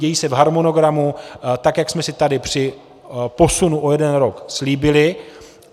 Dějí se v harmonogramu, tak jak jsme si tady při posunu o jeden rok slíbili.